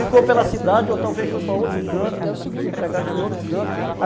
Ficou pela cidade ou talvez foi para outro canto, se empregando já em outro canto.